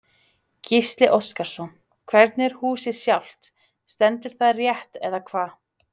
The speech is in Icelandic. Gísli Óskarsson: Hvernig er húsið sjálft, stendur það rétt eða hvað?